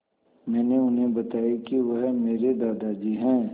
मैंने उन्हें बताया कि वह मेरे दादाजी हैं